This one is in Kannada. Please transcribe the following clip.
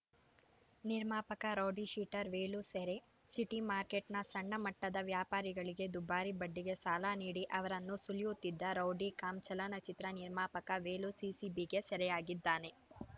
ನಿರ್ಮಾಪಕ ರೌಡಿಶೀಟರ್‌ ವೇಲು ಸೆರೆ ಸಿಟಿಮಾರ್ಕೆಟ್‌ನ ಸಣ್ಣ ಮಟ್ಟದ ವ್ಯಾಪಾರಿಗಳಿಗೆ ದುಬಾರಿ ಬಡ್ಡಿಗೆ ಸಾಲ ನೀಡಿ ಅವರನ್ನು ಸುಲಿಯುತ್ತಿದ್ದ ರೌಡಿ ಕಮ್‌ ಚಲನಚಿತ್ರ ನಿರ್ಮಾಪಕ ವೇಲು ಸಿಸಿಬಿಗೆ ಸೆರೆಯಾಗಿದ್ದಾನೆ